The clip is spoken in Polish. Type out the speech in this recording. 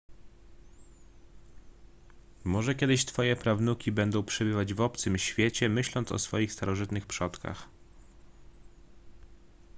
może kiedyś twoje prawnuki będą przebywać w obcym świecie myśląc o swoich starożytnych przodkach